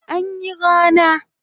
Jiya anyi rana